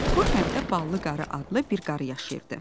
Bu kənddə Ballı qarı adlı bir qarı yaşayırdı.